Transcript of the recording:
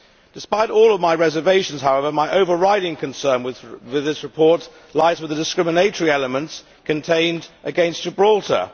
Despite all my reservations, however, my overriding concern with this report lies with the discriminatory elements it contains against Gibraltar.